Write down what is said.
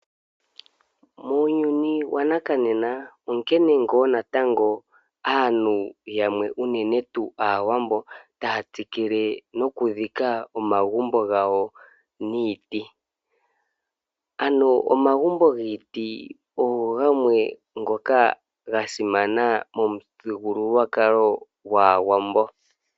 Muuyuni wanakanena onkene ngaa natango aantu yamwe unene tuu aawambo taya tsikile noku dhika omagumbo gawo niiti. Ano omagumbo giiti ogamwe ngoka ga simana momuthigululwakalo gwaawambo.